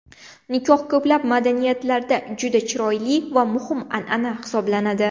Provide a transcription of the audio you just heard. Nikoh ko‘plab madaniyatlarda juda chiroyli va muhim an’ana hisoblanadi.